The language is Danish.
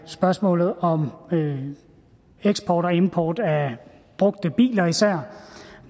spørgsmålet om om eksport og import af brugte biler især